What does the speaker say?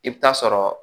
I bɛ taa sɔrɔ